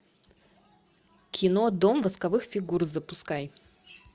кино дом восковых фигур запускай